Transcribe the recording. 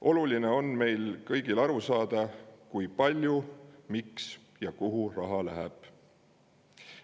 Oluline on, et me kõik saaksime aru, kui palju, miks ja kuhu raha läheb.